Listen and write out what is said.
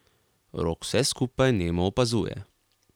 Rok vse skupaj nemo opazuje.